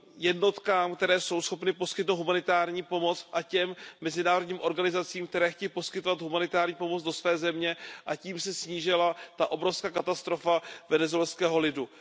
jednotkám, které jsou schopny poskytnout humanitární pomoc, a těm mezinárodním organizacím, které chtějí poskytovat humanitární pomoc, do své země, čímž by se snížila obrovská katastrofa venezuelského lidu.